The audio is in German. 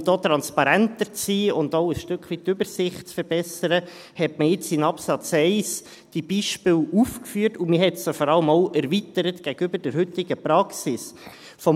Und um hier transparenter zu sein und auch, um ein Stück weit die Übersicht zu verbessern, hat man jetzt im Absatz 1 diese Beispiele aufgeführt und hat sie vor allem auch gegenüber der heutigen Praxis erweitert.